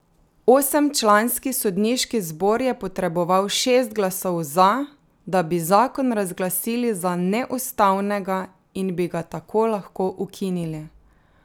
Osemčlanski sodniški zbor je potreboval šest glasov za, da bi zakon razglasili za neustavnega in bi ga tako lahko ukinili.